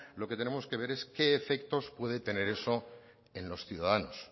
lo que tenemos que ver es qué efectos puede tener eso en los ciudadanos